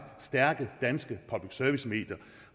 stærke danske public service medier